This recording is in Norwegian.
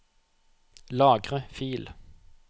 Lagre fil